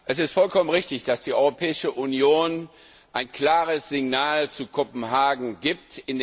Es ist vollkommen richtig, dass die Europäische Union ein klares Signal zu Kopenhagen gibt.